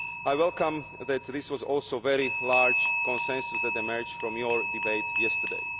I welcome that this was also the very large consensus that emerged from your debate yesterday.